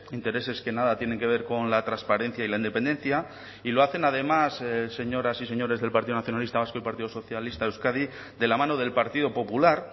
intereses que nada tienen que ver con la transparencia y la independencia y lo hacen además señoras y señores del partido nacionalista vasco y partido socialista de euskadi de la mano del partido popular